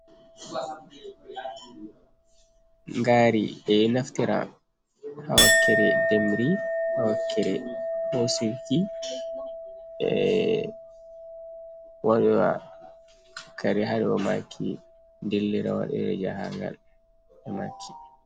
Ngari,e Naftira ha Wakkere Ndemri ha Wakkere Hosuki,E Waiwa Kare hado maki, Dillira Waɗowo Jahangal maki.